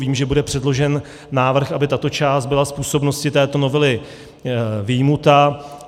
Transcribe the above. Vím, že bude předložen návrh, aby tato část byla z působnosti této novely vyjmuta.